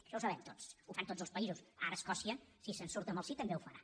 això ho sabem tots ho fan tots els països ara escòcia si se’n surt amb el sí també ho farà